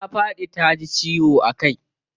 Ta faɗi taji ciwo a kai.